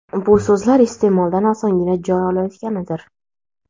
bu so‘zlar iste’moldan osongina joy olayotganidir.